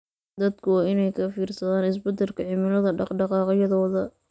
Dadku waa inay ka fiirsadaan isbeddelka cimilada dhaqdhaqaaqyadooda.